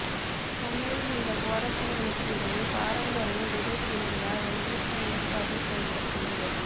சென்னையில் இந்த போராட்டங்களுக்கு இடையே பாரம்பரிய விதை திருவிழா ஒன்றுக்கும் ஏற்பாடு செய்யப்பட்டிருந்தது